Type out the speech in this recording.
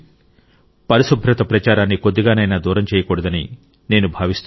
పరిశుభ్రత ప్రచారాన్ని కొద్దిగానైనా దూరం చేయకూడదని నేను భావిస్తున్నాను